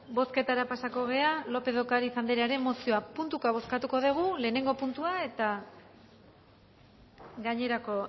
bozketara pasatuko gara lópez de ocariz anderearen mozioa puntuka bozkatuko dugu lehenengo puntua eta gainerako